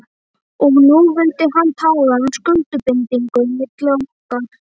Og nú vildi hann tala um skuldbindingu milli okkar.